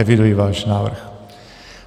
Eviduji váš návrh.